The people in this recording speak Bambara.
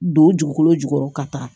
Don jukolo jukɔrɔ ka taa